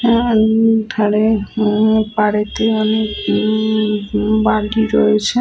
আহ উম ধারে অনেক পাড়েতে অনেক উম বালি রয়েছে ।